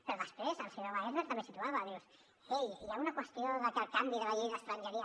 però després el senyor wagensberg també situava dius ei hi ha una qüestió de que el canvi de la llei d’estrangeria